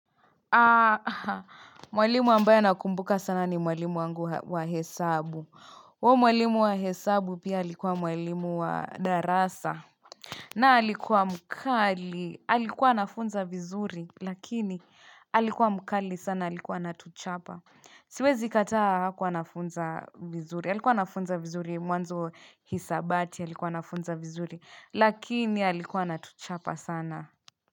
Aha, mwalimu ambayo nakumbuka sana ni mwalimu wangu wa hesabu Wo mwalimu wa hesabu pia halikuwa mwalimu wa darasa na halikuwa mkali, alikuwa anafunza vizuri, lakini alikuwa mkali sana alikuwa natuchapa Siwezi kataa hakuwa nafunza vizuri, halikuwa nafunza vizuri mwanzo hisabati alikuwa nafunza vizuri, lakini alikuwa natuchapa sana.